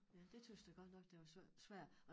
Ja det tøs jeg godt nok det var svært